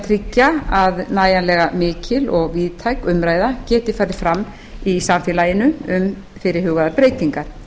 tryggja að nægjanlega mikil og víðtæk umræða geti farið fram í samfélaginu um fyrirhugaðar breytingar